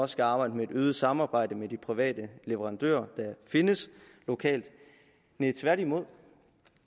skal arbejde med øget samarbejde med de private leverandører der findes lokalt nej tværtimod